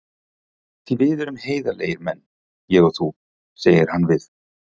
Því við erum heiðarlegir menn, ég og þú, segir hann við